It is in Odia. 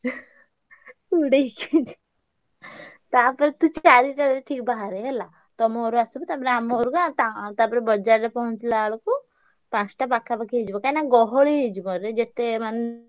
ଉଡେଇକି ତାପରେ ତୁ ଚାରିଟାରେ ଠିକ୍ ବାହାରେ ହେଲା। ତମ ଘରୁ ଆସିବୁ ତା ପରେ ଆମ ଘରୁକୁ ଆ ତା ତାପରେ ବଜାରରେ ପହଁଞ୍ଚିଲା ବେଳକୁ ପାଞ୍ଚଟା ପାଖାପାଖି ହେଇଯିବ କାହିଁକିନା ଗହଳି ହେଇଯିବରେ ଯେତେ ମାନେ,